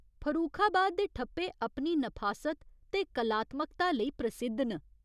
फरूखाबाद दे ठप्पे अपनी नफासत ते कलात्मकता लेई प्रसिद्ध न।